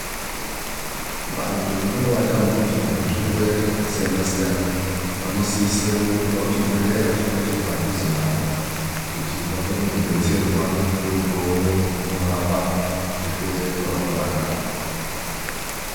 Vantu vanenge vatambudzwa ngezvirwere zvakasiyana siyana, vanosise kurumba kuchibhedhlera chinenge chiri padhuze navo kuti vakone kudetserwa ngekupuwe mutombo unorapa zvirwere zvavanenge vanazvo